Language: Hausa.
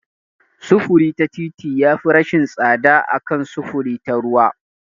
Sufuri ta fiti yafi rashin tsada a kan sufuri ta ruwa.